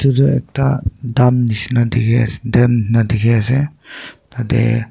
edu ekta dam nishi na dikhiase dan dikhiase tatae.